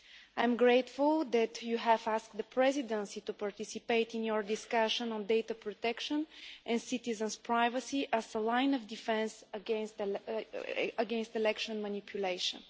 I am grateful that you have asked the Presidency to participate in your discussion on data protection and citizen's privacy as a line of defence against election manipulation'.